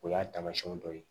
O y'a taamasiyɛn dɔ ye